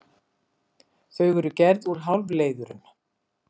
Þau eru gerð úr hálfleiðurum.